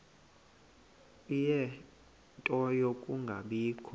ie nto yokungabikho